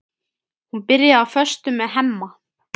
Hún byrjaði á föstu með Hemma.